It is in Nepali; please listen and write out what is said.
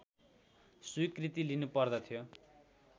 स्वीकृति लिनु पर्दथ्यो